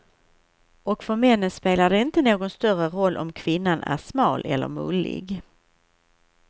Och för männen spelar det inte någon större roll om kvinnan är smal eller mullig.